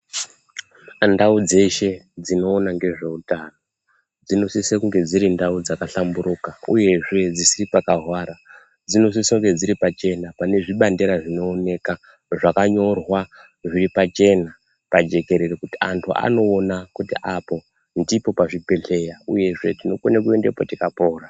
Ndau dzeshe dzinoona ngezveutano dzinosise kunge dziri ndau dzakahlamburuka uyezve dzisiri pakahwara dzinosise kunge dziri dziripachena panezvibandera zvinooneka zvakanyorwa zviripachena pajekerere kuti vanthu vanoona kuti apo ndipo pazvibhedheya uyezve tinokona kuendapo tikapona.